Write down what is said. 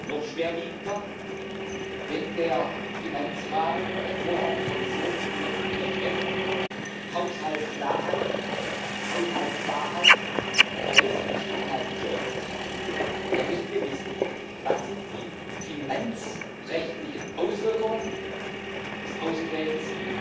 Noch schwerwiegender Wenn der Finanzrahmen der Vorschlag der Kommission für den nächsten MFR Haushaltsklarheit, Haushaltswahrheit, Realismus beinhalten soll, dann müssen wir wissen, was die finanzrechtlichen Auswirkungen des Austretens